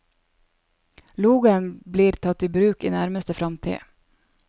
Logoen blir tatt i bruk i nærmeste fremtid.